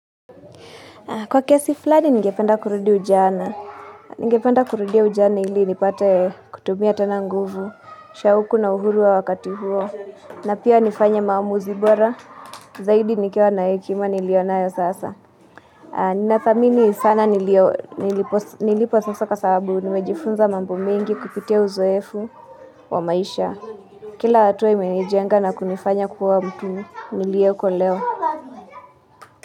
Kwa kesi flani ningependa kurudi ujana. Ningependa kurudia ujana ili nipate kutumia tena nguvu. Shauku na uhuru wa wakati huo. Na pia nifanye maamuzi bora. Zaidi nikiwa na hekima nilionayo sasa. Ninathamini sana nilipo sasa kwa sababu nimejifunza mambo mengi kupitia uzoefu wa maisha. Kila hatua imenijenga na kunifanya kuwa mtu nilioko leo.